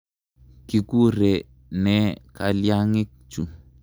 Kikure ne kalyang'ik chu?